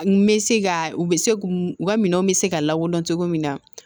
N bɛ se ka u bɛ se u ka minɛnw bɛ se ka lakodɔn cogo min na